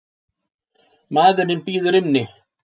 Maðurinn bíður inni.